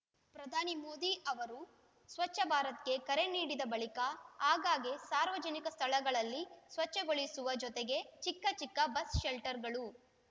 ಪ್ರಧಾನಿ ಮೋದಿ ಅವರು ಸ್ವಚ್ಛ ಭಾರತ್‌ಗೆ ಕರೆ ನೀಡಿದ ಬಳಿಕ ಆಗಾಗ್ಗೆ ಸಾರ್ವಜನಿಕ ಸ್ಥಳಗಳಲ್ಲಿ ಸ್ವಚ್ಛಗೊಳಿಸುವ ಜೊತೆಗೆ ಚಿಕ್ಕ ಚಿಕ್ಕ ಬಸ್‌ ಶೆಲ್ಟರ್‌ಗಳು